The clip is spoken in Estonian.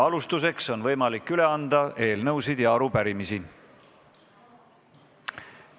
Alustuseks on võimalik üle anda eelnõusid ja arupärimisi.